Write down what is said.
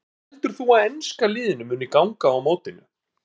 Hvernig heldur þú að enska liðinu muni ganga á mótinu?